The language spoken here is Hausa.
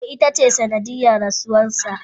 e, ita ce sanadiyan rasuwarsa.